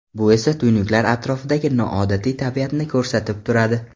Bu esa tuynuklar atrofidagi noodatiy tabiatni ko‘rsatib turadi.